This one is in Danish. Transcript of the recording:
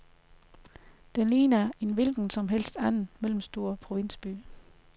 Den ligner en hvilken som helst anden mellemstor provinsby.